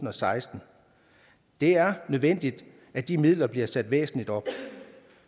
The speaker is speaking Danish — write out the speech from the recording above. og seksten det er nødvendigt at de midler bliver sat væsentligt op